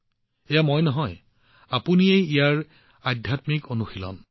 এয়া মই নহয় কিন্তু আপোনালোক ইয়াৰ সংস্কাৰ সাধনা